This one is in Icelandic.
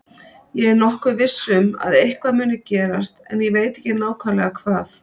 Ég er nokkuð viss um að eitthvað muni gerast en ég veit ekki nákvæmlega hvað.